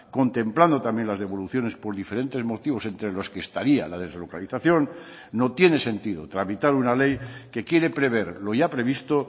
contemplando también las devoluciones por diferentes motivos entre los que estaría la deslocalización no tiene sentido tramitar una ley que quiere prever lo ya previsto